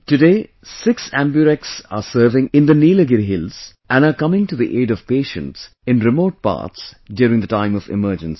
Today six AmbuRx are serving in the Nilgiri hills and are coming to the aid of patients in remote parts during the time of emergency